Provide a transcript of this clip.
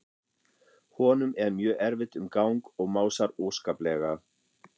Honum er mjög erfitt um gang og másar óskaplega.